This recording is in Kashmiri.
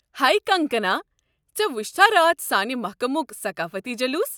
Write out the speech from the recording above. ہے کنگکنا! ژےٚ وُچھتھا راتھ سانہٕ محكمُک ثقافٔتی جلوٗس؟